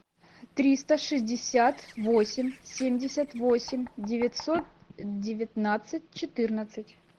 триста шестьдесят восемь семьдесят восемь девятьсот девятнадцать четырнадцать